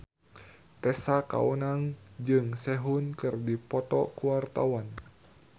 Tessa Kaunang jeung Sehun keur dipoto ku wartawan